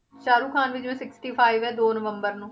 ਸਾਹੁਰਖਾਨ ਦੀ ਜਿਵੇਂ sixty-five ਹੈ ਦੋ ਨਵੰਬਰ ਨੂੰ